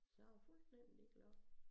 Så han var fuldstændig ligeglad